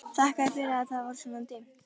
Þakkaði fyrir að það var svona dimmt.